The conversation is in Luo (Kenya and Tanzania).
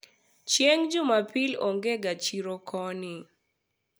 chieng' jumapil onge ga chiro koni